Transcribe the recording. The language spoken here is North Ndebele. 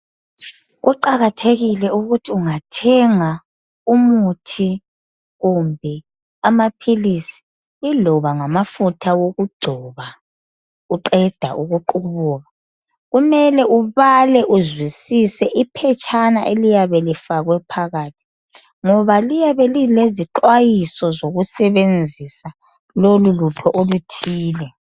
Kuqakathekile ukuthi ungathenga umuthi kumbe amaphilisi iloba ngamafutha okugcoba uqeda kuqubuka kumele ubale iphetshana uzwisise ngoba liyabe lilezixwayiso zokusebenzisa lolu lutho oluthile